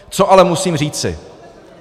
Co ale musím říci.